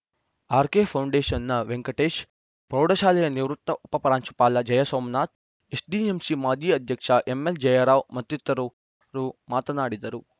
ಆರ್‌ಕೆಫೌಂಡೇಷನ್‌ನ ವೆಂಕಟೇಶ್‌ ಪ್ರೌಢಶಾಲೆಯ ನಿವೃತ್ತ ಉಪ ಪ್ರಾಂಶುಪಾಲ ಜಯಸೋಮನಾಥ್‌ ಎಸ್‌ಡಿಎಂಸಿ ಮಾಜಿ ಅಧ್ಯಕ್ಷ ಎಲ್‌ಎಂ ಜಯರಾವ್‌ ಮತ್ತಿತರರು ಮಾತನಾಡಿದರು